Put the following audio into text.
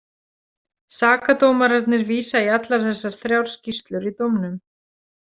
Sakadómararnir vísa í allar þessar þrjár skýrslur í dómnum.